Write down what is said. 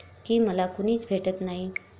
की मला कुणीच भेटत नाही.